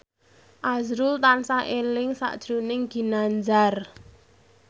azrul tansah eling sakjroning Ginanjar